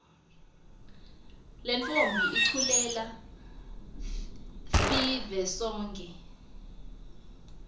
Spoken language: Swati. lentfombi iculela fivesonkhe